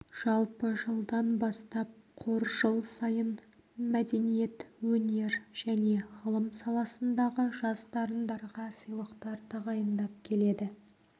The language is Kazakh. жалпы жылдан бастап қор жыл сайын мәдениет өнер және ғылым саласындағы жас дарындарға сыйлықтар тағайындап келеді